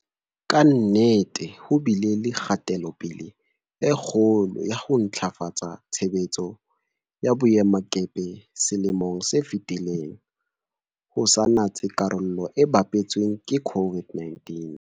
Ka nnete ho bile le kgatelo-pele e kgolo ya ho ntlafatsa tshebetso ya boemakepe selemong se fetileng, ho sa natse karolo e bapetsweng ke COVID-19.